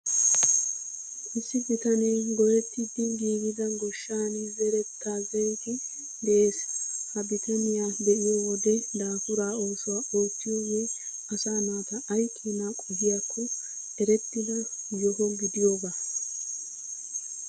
Issi bitanee goyettidi giigida goshshan zerettaa zeriiddi de'ees. Ha bitaniyaa be'iyoo wode dafuura oosuwaa oottiyoogee asaa naata ay keenaa qohiyaakko erettida yoho gidiyoogaa.